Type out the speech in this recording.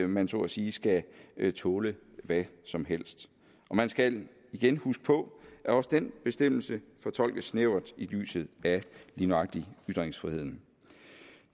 man så at sige skal tåle hvad som helst man skal igen huske på at også den bestemmelse fortolkes snævert i lyset af lige nøjagtig ytringsfriheden